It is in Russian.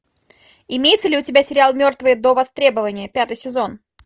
имеется ли у тебя сериал мертвые до востребования пятый сезон